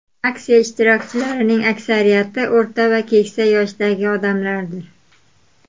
Aksiya ishtirokchilarining aksariyati o‘rta va keksa yoshdagi odamlardir.